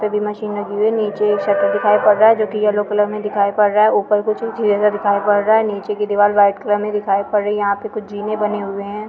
भी मशीन लगी हुई है नीचे एक शट्टर दिखाई पड रहा है जो की येल्लो कलर में दिखाई पड रहा है ऊपर कुछ चीजे दिखाई पड रहा है नीचे का दीवार व्हाइट कलर दिखाई पड रहा है यहाँ पे कुछ जीने बने हुए है।